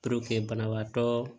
banabaatɔ